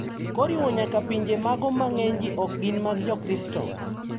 Koriwo nyaka pinje mago ma ng`eny ji ok gin mag jokristo.